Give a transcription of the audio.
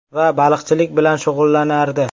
Va baliqchilik bilan shug‘ullanardi.